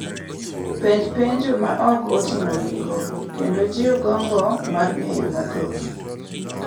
Penj penjo ma ok oting’o giko, kendo jiw gombo mar ng’eyo mathoth,